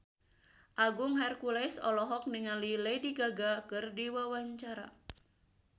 Agung Hercules olohok ningali Lady Gaga keur diwawancara